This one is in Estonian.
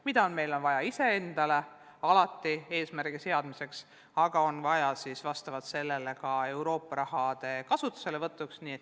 Seda on meil vaja iseendale eesmärgi seadmiseks, aga seda on vaja ka Euroopa raha kasutuselevõtuks.